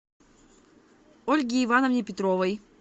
ольге ивановне петровой